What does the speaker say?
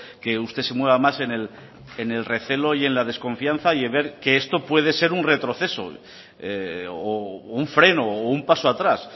que usted se mueva más en el recelo y en la desconfianza y en ver que esto puede ser un retroceso o un freno o un paso a atrás